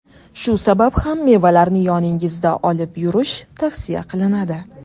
Shu sabab ham mevalarni yoningizda olib yurish tavsiya qilinadi.